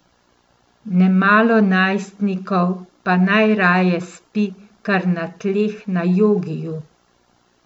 Nemalo najstnikov pa najraje spi kar na tleh na jogiju.